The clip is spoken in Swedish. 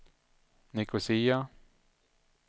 Nicosia